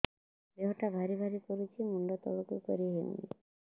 ଦେହଟା ଭାରି ଭାରି କରୁଛି ମୁଣ୍ଡ ତଳକୁ କରି ହେଉନି